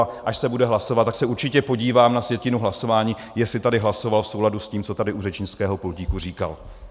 A až se bude hlasovat, tak se určitě podívám na sjetinu hlasování, jestli tady hlasoval v souladu s tím, co tady u řečnického pultíku říkal.